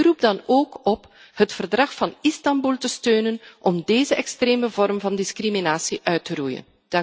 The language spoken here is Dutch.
Ik roep dan ook op het Verdrag van Istanbul te steunen om deze extreme vorm van discriminatie uit te roeien.